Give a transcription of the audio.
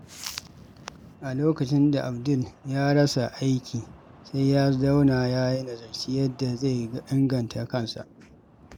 A lokacin da Abdul ya rasa aiki, sai ya zauna ya nazarci yadda zai inganta kansa.